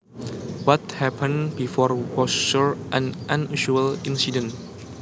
What happened before was sure an unusual incident